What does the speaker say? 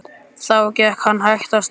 Þá gekk hann hægt af stað.